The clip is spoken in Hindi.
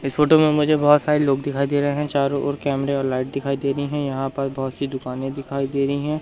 इस फोटो में मुझे बहोत सारे लोग दिखाई दे रहे हैं चारों ओर कैमरे और लाइट दिखाई दे रहीं है यहां पर बहोत सी दुकाने दिखाई दे रही है।